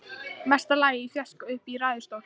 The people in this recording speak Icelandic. Mesta lagi í fjarska uppi í ræðustól.